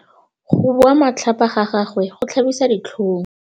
Go bua matlhapa ga gagwe go tlhabisa ditlhong.